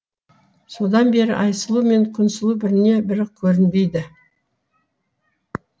содан бері айсұлу мен күнсұлу біріне бірі көрінбейді